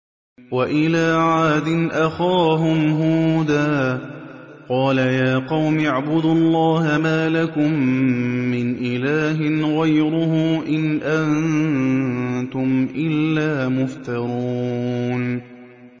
وَإِلَىٰ عَادٍ أَخَاهُمْ هُودًا ۚ قَالَ يَا قَوْمِ اعْبُدُوا اللَّهَ مَا لَكُم مِّنْ إِلَٰهٍ غَيْرُهُ ۖ إِنْ أَنتُمْ إِلَّا مُفْتَرُونَ